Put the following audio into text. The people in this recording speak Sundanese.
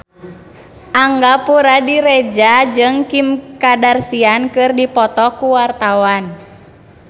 Angga Puradiredja jeung Kim Kardashian keur dipoto ku wartawan